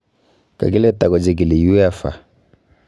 Kakile takochikili UEFA